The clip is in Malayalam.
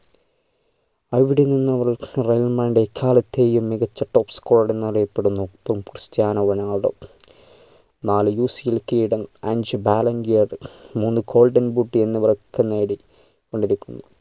അവിടെ നിന്നും റെ real madrid ന്റെ എക്കാലത്തെയും മികച്ച top scorer എന്നറിയപ്പെടുന്ന ക്രിസ്റ്റ്യാനോ റൊണാൾഡോ നാല് കിരീടം അഞ്ച് ballon d'or മൂന്ന് golden boot എന്നിവയൊക്കെ നേടി കൊണ്ടിരിക്കുന്നു